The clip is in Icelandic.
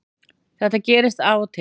Þetta gerist af og til